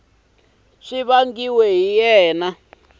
a swi vangiwa hi yini